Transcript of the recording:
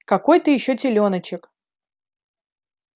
какой ты ещё телёночек